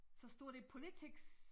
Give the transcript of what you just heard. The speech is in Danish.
Så står der politics